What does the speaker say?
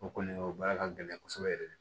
O kɔni o baara ka gɛlɛn kosɛbɛ yɛrɛ de